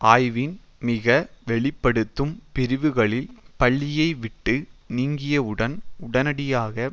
ஆய்வின் மிக வெளி படுத்தும் பிரிவுகளில் பள்ளியைவிட்டு நீங்கியவுடன் உடனடியாக